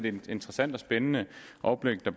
et interessant og spændende oplæg der